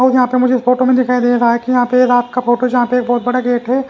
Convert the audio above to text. यहां पे मुझे फोटो में दिखाई दे रहा है कि यहां पे रात का फोटो जहां पे एक बहुत बड़ा गेट है।